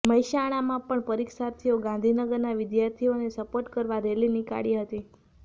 મહેસાણામાં પણ પરિક્ષાર્થીઓ ગાંધીનગરના વિધાર્થીઓને સપોર્ટ કરવા રેલી નીકાળી હતી